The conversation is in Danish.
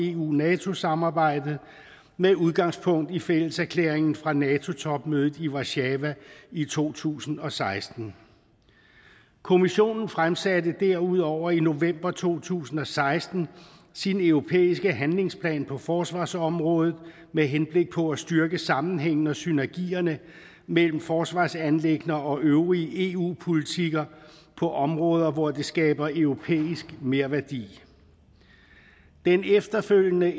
eu nato samarbejdet med udgangspunkt i fælleserklæringen fra nato topmødet i warszawa i to tusind og seksten kommissionen fremsatte derudover i november to tusind og seksten sin europæiske handlingsplan på forsvarsområdet med henblik på at styrke sammenhængen og synergierne mellem forsvarsanliggender og øvrige eu politikker på områder hvor det skaber europæisk merværdi den efterfølgende